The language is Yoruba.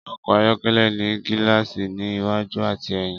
Ọkọ̀ ayọ́kẹ́lẹ́ ní gíláàsì ní iwájú àti èyìn.